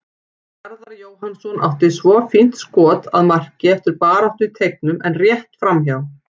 Garðar Jóhannsson átti svo fínt skot að marki eftir baráttu í teignum en rétt framhjá.